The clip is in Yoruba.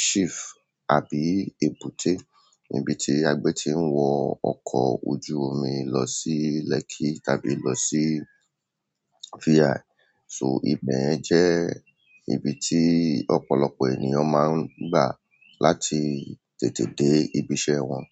chief àbí èbúté, níbi tí a gbé ti ń wo ọkọ̀ ojúrin lọ sí lekki tàbí losi VI. So, ibẹ̀ yẹn jẹ́ ibi tí ọ̀pọ̀lọpọ̀ ènìyàn máa ń gbà láti tètè dé ibi iṣẹ́ wọn.